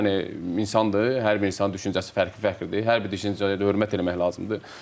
Yəni insandır, hər bir insanın düşüncəsi fərqli-fərqlidir, hər bir düşüncəyə hörmət eləmək lazımdır.